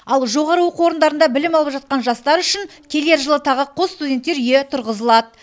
ал жоғары оқу орындарында білім алып жатқан жастар үшін келер жылы тағы қос студенттер үйі тұрғызылады